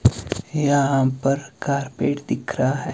यहां पर कारपेट दिख रहा है।